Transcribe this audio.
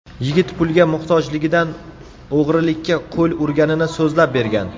Yigit pulga muhtojligidan o‘g‘rilikka qo‘l urganini so‘zlab bergan.